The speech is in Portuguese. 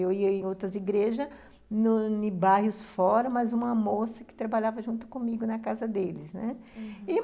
Eu ia em outras igrejas, em bairros fora, mas uma moça que trabalhava junto comigo na casa deles, né? uhum.